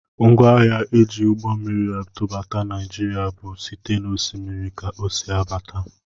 Ngwaahịa e ji ụgbọmmiri atụbata Naijiria bụ site n'Osimiri ka o si abata